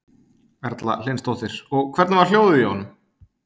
Erla Hlynsdóttir: Og hvernig var hljóðið í honum?